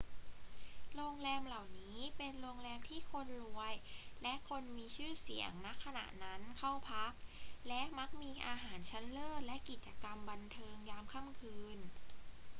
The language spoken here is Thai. โรงแรมเหล่านี้เป็นโรงแรมที่คนรวยและคนมีชื่อเสียง ณ ขณะนั้นเข้าพัก และมักมีอาหารชั้นเลิศและกิจกรรมบันเทิงยามค่ำคืน